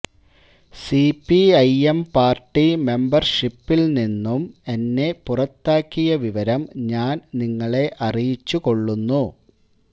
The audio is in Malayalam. C P I M party മെബര്ഷിപ്പ്ഷിപ്പില് നിന്നും എന്നെ പുറത്താക്കിയ വിവരം ഞാന് നിങ്ങളെ അറിയിച്ചുകൊള്ളുന്നു